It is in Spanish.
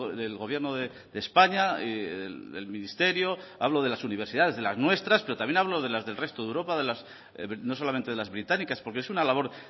del gobierno de españa del ministerio hablo de las universidades de las nuestras pero también hablo de las del resto de europa no solamente de las británicas porque es una labor